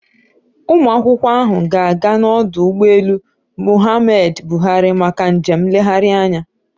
Ụmụakwụkwọ ahụ ga-aga n'ọdụ ụgbọelu Muhammadu Buhari maka njem nlegharị anya